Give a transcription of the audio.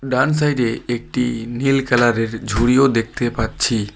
ডান সাইডে একটি নীল কালারের ঝুড়িও দেখতে পাচ্ছি।